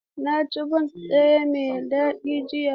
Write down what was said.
Na ci bons ɗaya mai daɗi jiya.